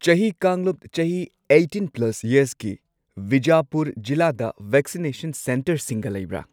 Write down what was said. ꯆꯍꯤ ꯀꯥꯡꯂꯨꯞ ꯆꯍꯤ ꯑꯩꯠꯇꯤꯟ ꯄ꯭ꯂꯁ ꯌꯔꯁꯀꯤ ꯕꯤꯖꯥꯄꯨꯔ ꯖꯤꯂꯥꯗ ꯚꯦꯛꯁꯤꯅꯦꯁꯟ ꯁꯦꯟꯇꯔꯁꯤꯡꯒ ꯂꯩꯕ꯭ꯔꯥ?